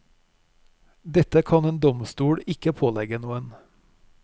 Dette kan en domstol ikke pålegge noen.